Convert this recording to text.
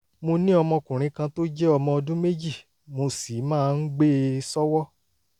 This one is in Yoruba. mo ní ọmọkùnrin kan tó jẹ́ ọmọ ọdún méjì mo sì máa ń gbé e sọ́wọ́